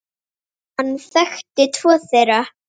Hann þekkti tvo þeirra.